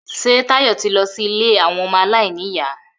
Ṣé Táyọ̀ ti lọ sí ilé àwọn ọmọ aláìníyà?